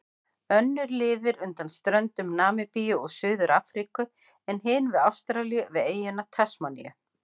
Önnur lifir undan ströndum Namibíu og Suður-Afríku en hin við Ástralíu, við eyjuna Tasmaníu.